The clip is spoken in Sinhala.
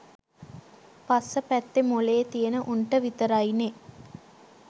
පස්ස පැත්තෙ මොලේ තියෙන උන්ට විතරයිනෙ